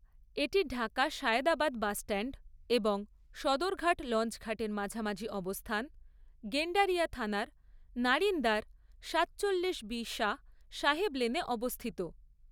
এটি ঢাকা সায়দাবাদ বাসস্ট্যান্ড এবং সদরঘাট লঞ্চঘাটের মাঝামাঝি অবস্থান গেন্ডারিয়া থানার নারিন্দার সাতচল্লিশ বি শাহ সাহেব লেনে অবস্থিত।